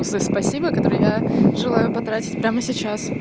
спасибо который я желаю потратить прямо сейчас